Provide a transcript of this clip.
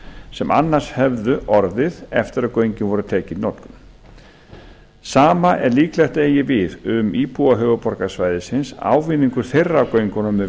sem hefðu annars orðið eftir að göngin voru tekin í notkun sama er líklegt að eigi við um íbúa höfuðborgarsvæðisins ávinningur þeirra af göngunum er